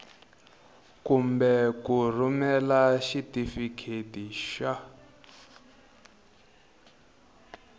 kumbe ku rhumela xitifiketi xa